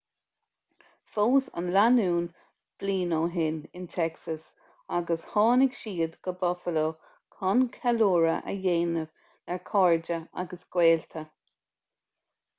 phós an lánúin bliain ó shin in texas agus tháinig siad go buffalo chun ceiliúradh a dhéanamh le cairde agus gaolta